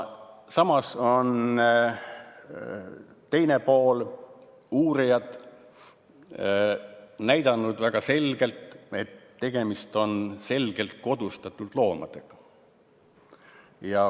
Samas on teine pool, uurijad, näidanud väga selgelt, et tegemist on selgelt kodustatud loomadega.